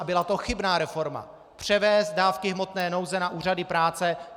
A byla to chybná reforma, převést dávky hmotné nouze na úřady práce.